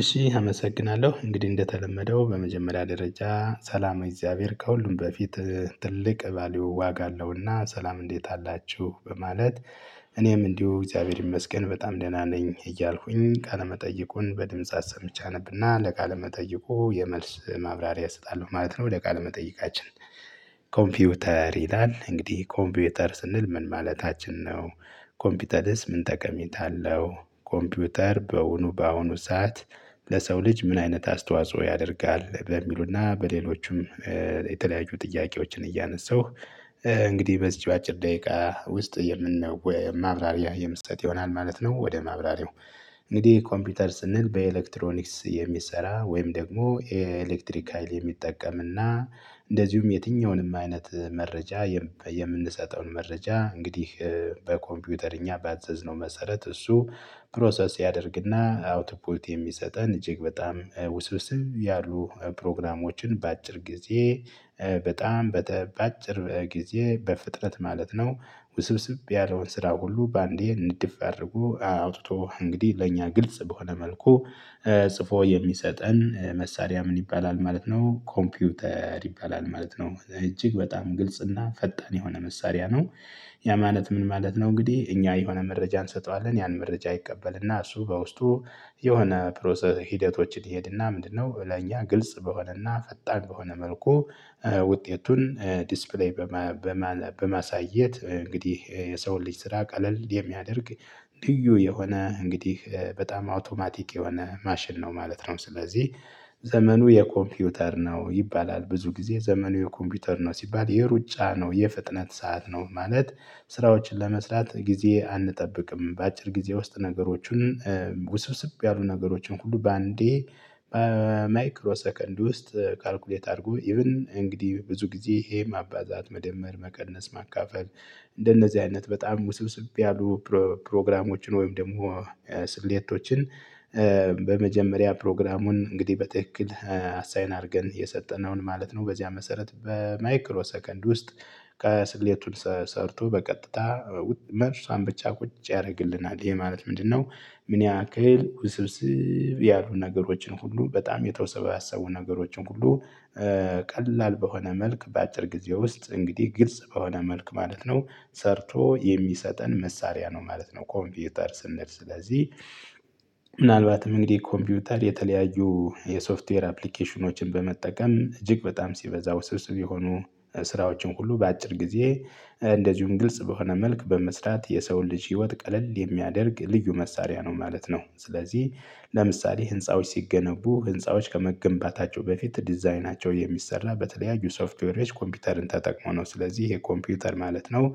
እሺ አመሰግናለሁ እንግዲህ እንደተለመደው በመጀመሪያ ደረጃ ሰላመ እግዚአብሔር ከሁሉም በፊት ትልቅ ባልዩ ዋጋ አለው እና ሰላም እንዴት አላችሁ በማለት። እኔም እንዲሁ እግዚአብሔር ይመስገን በጣም ደህና ነኝ እያልኩኝ ቃለ መጠይቁን በድምጽ አሰምቼ አነብና ለቃለ መጠይቁ የመልስ ማብራሪያ እሰጣለሁ ማለት ነው ወደ ቃል መጠይቃችን። ኮምፒውተር ይላል እንግዲህ ኮምፒውተር ስንል ምን ማለታችን ነው? ኮምፒውተርስ ምን ጠቀሜታ አለው? ኮምፒውተር በእውኑ በአሁኑ ሰዓት ለሰው ልጅ ምን አይነት አስተዋጽኦ ያደርጋል በሚሉና በሌሎችም የተለያዩ ጥያቄዎችን እያነሳሁ። እንግዲህ በዚህ በአጭር ደቂቃ ውስጥ የምንወይ ማብራሪያ የምሰጥ ይሆናል ማለት ነው። ወደ ማብራሪያው እንግዲህ ኮምፒውተር ስንል በኤሌክትሮኒክስ የሚሰራ ወይም ደግሞ ኤሌክትሪክ ሀይል የሚጠቀምና እንደዚሁም የትኛውንም አይነት መረጃ። የምንሰጠውን መረጃ እንግዲህ በኮምፒውተር እኛ ባዘዝነው መሰረት እሱ ፕሮሰስ ያደርግና አውትፑት የሚሰጠን እጅግ በጣም ውስብስብ ያሉ ፕሮግራሞችን በአጭር ጊዜ በጣም በአጭር ጊዜ በፍጥረት ማለት ነው። ውስብስብ ያለውን ስራ ሁሉ በአንዴ ንድፍ አድርጎ አውጥቶ እንግዲህ ለእኛ ግልጽ በሆነ መልኩ ጽፎ የሚሰጠን መሳሪያ ምን ይባላል ማለት ነው ኮምፒውተር ይባላል ማለት ነው። እጅግ በጣም ግልጽ እና ፈጣን የሆነ መሳሪያ ነው። ያ ማለት ምን ማለት ነው? እንግዲህ እኛ የሆነ መረጃ እንሰጠዋለን ያን መረጃ ይቀበልና እሱ በውስጡ የሆነ ፕሮሰስ ሂደቶችን ይሄድና ምንድን ነው ለኛ ግልጽ በሆነ እና ፈጣን በሆነ መልኩ። ውጤቱን ዲስፕሌይ በማሳየት እንግዲህ የሰውን ልጅ ስራ ቀለል የሚያደርግ ልዩ የሆነ እንግዲህ በጣም አውቶማቲክ የሆነ ማሽን ነው ማለት ነው። ስለዚህ ዘመኑ የኮምፒውተር ነው ይባላል ብዙ ጊዜ ዘመኑ የኮምፒውተር ነው ሲባል የሩጫ ነው የፍጥነት ሰዓት ነው ማለት። ስራዎችን ለመስራት ጊዜ አንጠብቅም በአጭር ጊዜ ውስጥ ነገሮችን ውስብስብ ያሉ ነገሮችን ሁሉ በአንዴ። ማይክሮ ሰከንድ ውስጥ ካልኩሌት አርጎ ኢቭን እንግዲህ ብዙ ጊዜ ይሄ ማባዛት መደመር መቀነስ ማካፈል። እንደነዚህ አይነት በጣም ውስብስብ ያሉ ፕሮግራሞችን ወይም ደግሞ ስሌቶችን። በመጀመሪያ ፕሮግራሙን እንግዲህ በትክክል አሳይን አርገን የሰጠነውን ማለት ነው በዚያ መሰረት በማይክሮ ሰከንድ ውስጥ ከስክሌቱን ሰርቶ በቀጥታ መልሷን ብቻ ቁጭ ያርግልናል ይሄ ማለት ምንድን ነው? ምን ያክል ውስብስብ ያሉ ነገሮችን ሁሉ በጣም የተወሰባሰቡ ነገሮችን ሁሉ ቀላል በሆነ መልክ በአጭር ጊዜ ውስጥ እንግዲህ ግልጽ በሆነ መልኩ ማለት ነው። ሰርቶ የሚሰጠን መሳሪያ ነው ማለት ነው ኮምፒውተር ስንል ስለዚህ። ምናልባትም እንግዲህ ኮምፒውተር የተለያዩ የሶፍትዌር አፕሊኬሽኖችን በመጠቀም እጅግ በጣም ሲበዛ ውስብስብ የሆኑ ስራዎችን ሁሉ በአጭር ጊዜ እንደዚሁም ግልጽ በሆነ መልክ በመስራት የሰውን ልጅ ህይወት ቀለል የሚያደርግ ልዩ መሳሪያ ነው ማለት ነው። ስለዚህ ለምሳሌ ህንፃዎች ሲገነቡ ህንፃዎች ከመገንባታቸው በፊት ዲዛይናቸው የሚሰራ በተለያዩ ሶፍትዌሮች ኮምፒውተርን ተጠቅሞ ነው ስለዚህ ይሄ ኮምፒውተር ማለት ነው።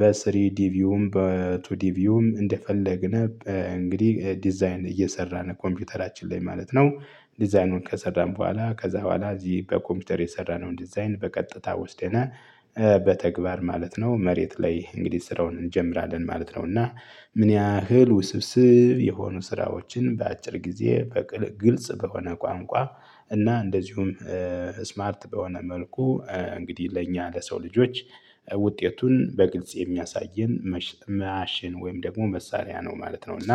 በስሪ ዲቪውም በቱ ዲቪውም እንደፈለግን እንግዲህ ዲዛይን እየሰራን ኮምፒውተራችን ላይ ማለት ነው። ዲዛይኑን ከሰራን በኋላ ከዛ በኋላ እዚህ በኮምፒውተር የሰራነውን ዲዛይን በቀጥታ ወስደናል። በተግባር ማለት ነው መሬት ላይ እንግዲህ ስራውን እንጀምራለን ማለት ነውና። ምን ያህል ውስብስብ የሆኑ ስራዎችን በአጭር ጊዜ በቅል ግልጽ በሆነ ቋንቋ እና እንደዚሁም ስማርት በሆነ መልኩ። እንግዲህ ለእኛ ለሰው ልጆች ውጤቱን በግልጽ የሚያሳየን ማሽን ወይም ደግሞ መሳሪያ ነው ማለት ነው። እና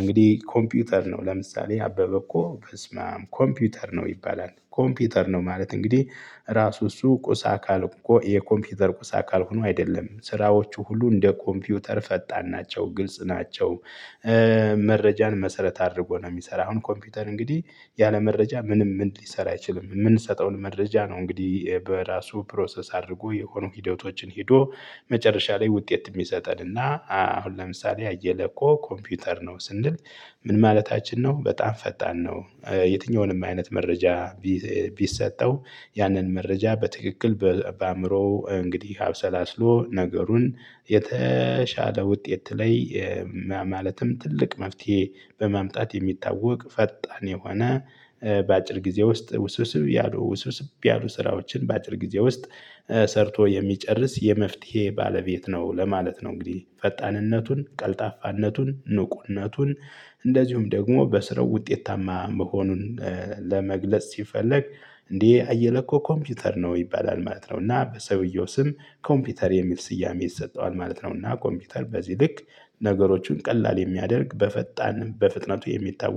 እንግዲህ ኮምፒውተር ነው ለምሳሌ አበበ እኮ በስመአም ኮምፒውተር ነው ይባላል ኮምፒውተር ነው ማለት እንግዲህ ራሱ እሱ ቁስ አካል የኮምፒውተር ቁስ አካል ሆኖ አይደለም ስራዎቹ ሁሉ እንደ ኮምፒውተር ፈጣን ናቸው ግልጽ ናቸው። መረጃን መሰረት አድርጎ ነው የሚሰራ አሁን ኮምፒውተር እንግዲህ ያለ መረጃ ምንም ሊሰራ አይችልም። ምንሰጠውን መረጃ ነው እንግዲህ በራሱ ፕሮሰስ አድርጎ የሆኑ ሂደቶችን ሄዶ መጨረሻ ላይ ውጤት ሚሰጠን። እና አሁን ለምሳሌ አየለ እኮ ኮምፒውተር ነው ስንል። ምን ማለታችን ነው? በጣም ፈጣን ነው። የትኛውንም አይነት መረጃ ቢሰጠው ያንን መረጃ በትክክል በአእምሮው እንግዲህ አብሰላስሎ ነገሩን የተሻለ ውጤት ላይ ማለትም ትልቅ መፍትሄ በማምጣት የሚታወቅ ፈጣን የሆነ በአጭር ጊዜ ውስጥ ውስውስብ ያሉ ውስውስብ ያሉ ስራዎችን በአጭር ጊዜ ውስጥ። ሰርቶ የሚጨርስ የመፍትሄ ባለቤት ነው ለማለት ነው። እንግዲህ ፈጣንነቱን ቀልጣፋነቱን ንቁነቱን እንደዚሁም ደግሞ በስራው ውጤታማ መሆኑን ለመግለጽ ሲፈለግ እንዴ አየለ እኮ ኮምፒውተር ነው ይባላል ማለት ነው። እና በሰውየው ስም ኮምፒውተር የሚል ስያሜ ይሰጠዋል ማለት ነው። እና ኮምፒውተር በዚህ ልክ ነገሮችን ቀላል የሚያደርግ በፈጣንም በፍጥነቱ የሚታወቅ